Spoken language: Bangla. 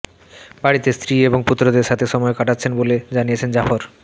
বাড়িতে স্ত্রী এবং পুত্রদের সাথে সময় কাটাচ্ছেন বলে জানিয়েছেন জাফর